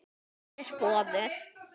Mér er boðið.